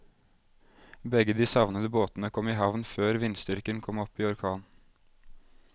Begge de savnede båtene kom i havn før vindstyrken kom opp i orkan.